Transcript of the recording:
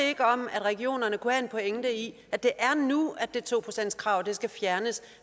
ikke om at regionerne kunne have en pointe i at det er nu at det to procentskrav skal fjernes